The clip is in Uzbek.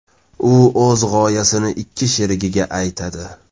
U o‘z g‘oyasini ikki sherigiga aytadi.